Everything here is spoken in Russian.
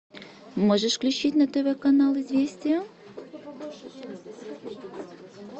можешь включить на тв канал известия